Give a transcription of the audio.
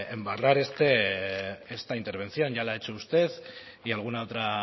embarrar esta intervención ya lo ha hecho usted y alguna otra